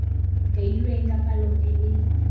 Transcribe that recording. kailweng ka palo e e